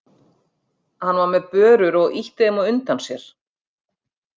Hann var með börur og ýtti þeim á undan sér.